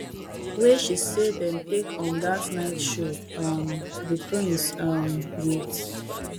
wey she say dem take on dat night show um di prince um wit